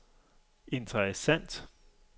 interessant